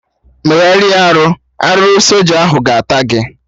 Megharịa arụ! Arụrụ soja ahụ ga-ata gị!